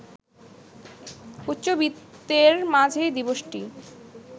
উচ্চবিত্তের মাঝেই দিবসটি